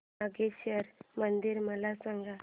नागेश्वर मंदिर मला सांग